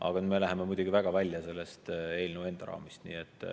Aga nüüd me läheme muidugi väga välja selle eelnõu raamidest.